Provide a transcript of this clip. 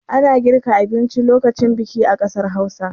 Ana girka abinci lokacin biki a ƙasar Hausa.